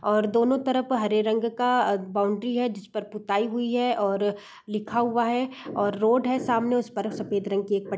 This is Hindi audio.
और दोनों तरफ हरे रंग का अ बाउंड्री है जिसपर पुताई हुवी है और लिखा हुवा है और रोड है सामने उसपर सफ़ेद रंग की एक पट् --